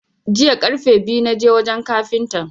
Jiya karfe biyu na je wajan kafintan.